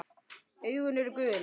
Augun eru gul.